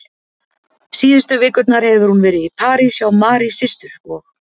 Síðustu vikurnar hefur hún verið í París hjá Mary systur og